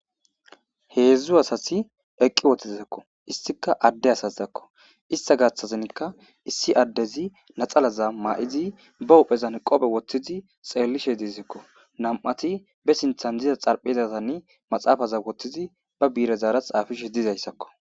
Heedzdzu asasi eqqi wothtizakko istika adde asazizakko ista gashthazinkka issi addezi naxalaza ma7izi ba uphezan qophe wottidi xeellishe diizakko nam7ati be sinthan diza xalphezatann maxaafaza wottizi ba biirezaara xaafishe dizayssakko.